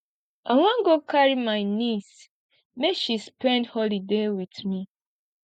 i wan go carry my neice make she spend holiday wit me